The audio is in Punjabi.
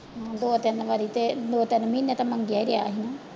ਹਾਂ ਦੋ ਤਿੰਨ ਵਾਰੀ ਤੇ ਦੋ ਤਿੰਨ ਮਹੀਨੇ ਤਾਂ ਮੰਗਿਆ ਹੀ ਰਿਹਾ ਸੀ ਨਾ।